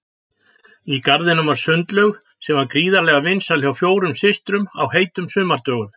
Í garðinum var sundlaug sem var gríðarlega vinsæl hjá fjórum systrum á heitum sumardögum.